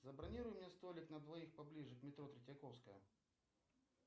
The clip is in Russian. забронируй мне столик на двоих поближе к метро третьяковская